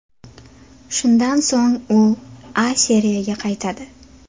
Shundan so‘ng u A Seriyaga qaytadi.